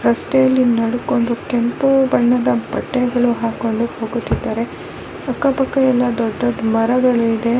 ರಸ್ತೆಯಲ್ಲಿ ನಡೆದುಕೊಂಡು ಕೆಂಪು ಬಣ್ಣದ ಬಟ್ಟೆಗಳು ಹಾಕ್ಕೊಂಡು ಹೋಗುತ್ತಿದ್ದಾರೆ ಅಕ್ಕ ಪಕ್ಕ ಎಲ್ಲ ದೊಡ್ಡ ದೊಡ್ಡ ಮರಗಳಿದೆ .